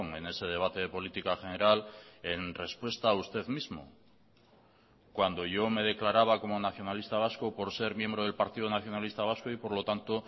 en ese debate de política general en respuesta a usted mismo cuando yo me declaraba como nacionalista vasco por ser miembro del partido nacionalista vasco y por lo tanto